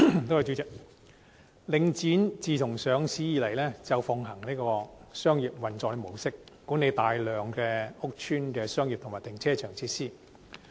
代理主席，自上市以來，領展奉行商業運作模式，管理大量屋邨的商業及停車場設施。